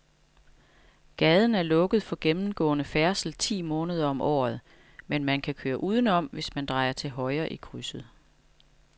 Gaden er lukket for gennemgående færdsel ti måneder om året, men man kan køre udenom, hvis man drejer til højre i krydset.